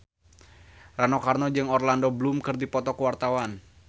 Rano Karno jeung Orlando Bloom keur dipoto ku wartawan